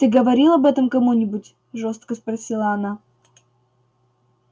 ты говорил об этом кому-нибудь жёстко спросила она